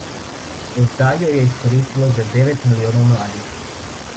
Do zdaj jo je izkoristilo že devet milijonov mladih.